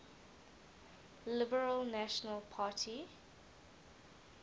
liberal national party